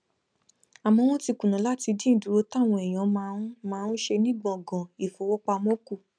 àmó wón ti kùnà láti dín ìdúró táwọn èèyàn máa ń máa ń ṣe ní gbòngàn ìfowópamó kù